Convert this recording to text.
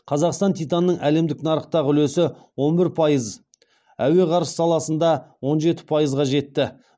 қазақстан титанының әлемдік нарықтағы үлесі он бір пайыз әуе ғарыш саласында он жеті пайызға жетті